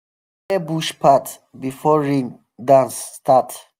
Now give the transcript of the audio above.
dem go clear bush path before rain dance um start.